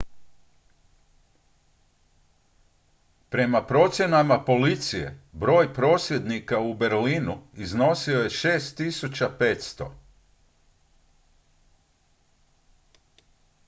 prema procjenama policije broj prosvjednika u berlinu iznosio je 6500